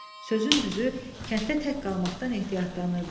Sözün düzü, kənddə tək qalmaqdan ehtiyatlanırdı.